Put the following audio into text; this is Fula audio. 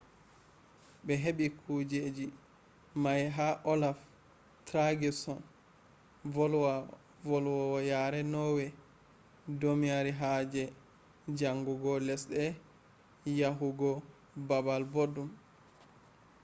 be hebi kujeji mai ha olaf trygvsson, volwowo yare norway domari haje chanjugo lesde yahu go balbal boddon